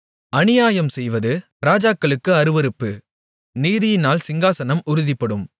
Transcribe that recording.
அநியாயம்செய்வது ராஜாக்களுக்கு அருவருப்பு நீதியினால் சிங்காசனம் உறுதிப்படும்